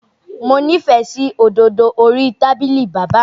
Mo nífẹ̀ẹ́ sí òdòdó orí tábìlì bàbá mi